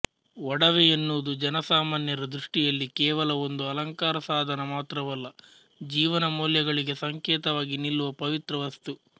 ಒಡವೆ ಎನ್ನುವುದು ಜನಸಾಮಾನ್ಯರ ದೃಷ್ಟಿಯಲ್ಲಿ ಕೇವಲ ಒಂದು ಅಲಂಕಾರ ಸಾಧನ ಮಾತ್ರವಲ್ಲ ಜೀವನ ಮೌಲ್ಯಗಳಿಗೆ ಸಂಕೇತವಾಗಿ ನಿಲ್ಲುವ ಪವಿತ್ರ ವಸ್ತು